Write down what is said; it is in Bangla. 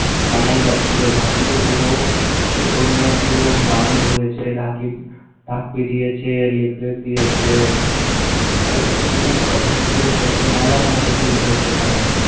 সানাই বাজছিল, ঢাকিতো পুরো ওটা নিয়ে পুরো গ্রাম ঘুরেছে। এ ঢাকি ঢাক পিটিয়েছে, leaflet দিয়েছে। ভাইরে খুব খাইছি খুব খাইছি কালকে মেলার মতো ভিড় হয়েছে এখানে